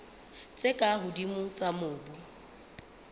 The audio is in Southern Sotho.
tse ka hodimo tsa mobu